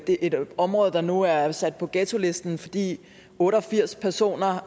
det er et område der nu er sat på ghettolisten fordi otte og firs personer